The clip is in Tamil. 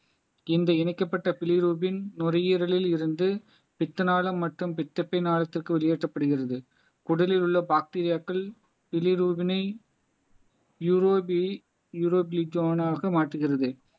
இந்த இணைக்கப்பட்ட பிலிரூப்பின் நுரையீரலில் இருந்து பித்தநாளம் மற்றும் பித்தப்பை நாளத்திற்கு ஒளியேற்றப்படுகிறது உடலில் உள்ள பாக்டீரியாக்கல் ஆக மாற்றுகிறது